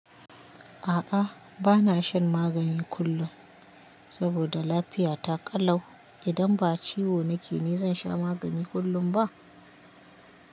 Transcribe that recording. A'a, bana shan magani kullum saboda lafiya ta ƙalau. Idan ba ciwo nake ni zan sha magani kullum ba?